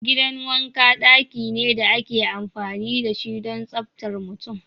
Gidan wanka daki ne da ake amfani da shi don tsaftar mutum.